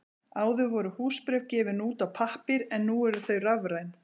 Áður voru húsbréf gefin út á pappír en nú eru þau rafræn.